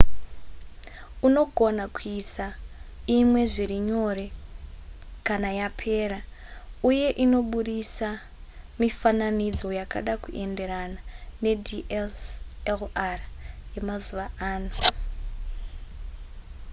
unogona kuisa imwe zviri nyore kana yapera uye inobudisa mifananidzo yakada kuenderana nedslr yemazuva ano